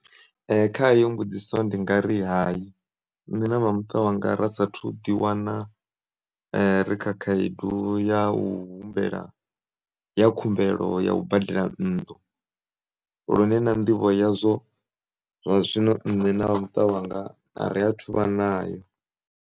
Kha heyo mbudziso ndingari hayi, nṋe na vhamuṱa wanga ra sathu ḓiwana rikha khaedu ya u humbela ya khumbelo ya ubadela nnḓu, lune na nḓivho yazwo, zwa zwino nṋe na vhamuṱa wanga ariya thuvha nayo.